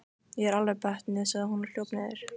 Ég er alveg bötnuð, sagði hún og hljóp niður.